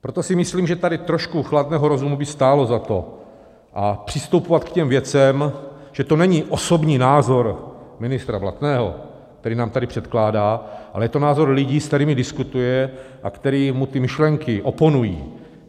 Proto si myslím, že tady trošku chladného rozumu by stálo za to, a přistupovat k těm věcem, že to není osobní názor ministra Blatného, který nám tady předkládá, ale je to názor lidí, se kterými diskutuje a kteří mu ty myšlenky oponují.